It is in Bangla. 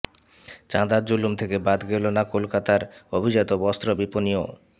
চাঁদার জুলুম থেকে বাদ গেল না কলকাতার অভিজাত বস্ত্র বিপণীও